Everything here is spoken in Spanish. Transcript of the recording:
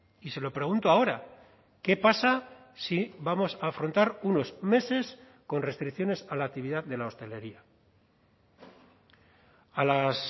y se lo pregunto ahora qué pasa si vamos a afrontar unos meses con restricciones a la actividad de la hostelería a las